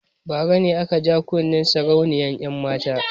Bara ne aka ja kunnen sarauniyar 'yanmata.